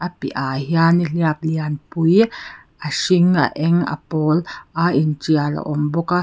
a piah ah hian nihliap lianpui a hring a eng pawl a intial a awm bawka.